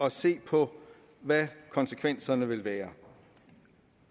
at se på hvad konsekvenserne vil være